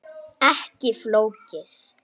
Ekki flókið.